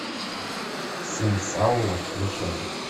сын саула включай